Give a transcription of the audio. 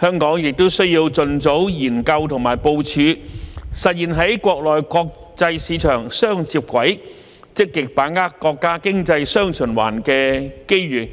香港亦需要盡早研究和部署實現在國內國際市場"雙接軌"，積極把握國家經濟"雙循環"的機遇，